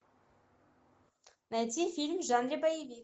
найти фильм в жанре боевик